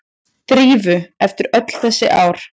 Drífu eftir öll þessi ár.